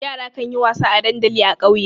Yara kan yi wasa a dandali a ƙauye.